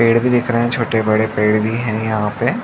पेड़ भी दिख रहा है छोटे बड़े पेड़ भी है यहाँ पे --